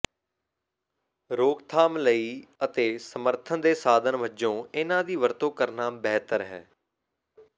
ਰੋਕਥਾਮ ਲਈ ਅਤੇ ਸਮਰਥਨ ਦੇ ਸਾਧਨ ਵਜੋਂ ਇਨ੍ਹਾਂ ਦੀ ਵਰਤੋਂ ਕਰਨਾ ਬਿਹਤਰ ਹੈ